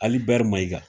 Ali bɛri mayiga